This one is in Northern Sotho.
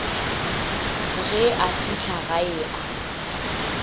ge a fihla gae a